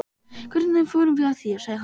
Hvernig förum við að því? sagði hann.